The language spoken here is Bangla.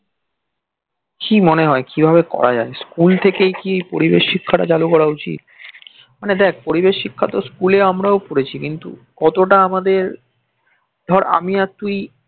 কি মনে হয় কিভাবে করা যায় school থেকেই কি পরিবেশ শিক্ষা টা চালু করা উচিত মানে দেখ পরিবেশ শিক্ষা তো school এ আমরাও পড়েছি কিন্তু কতটা আমাদের ধর আমি আর তুই